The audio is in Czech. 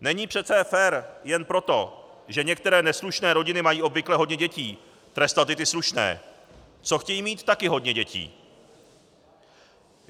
Není přece fér jen proto, že některé neslušné rodiny mají obvykle hodně dětí, trestat i ty slušné, co chtějí mít také hodně dětí.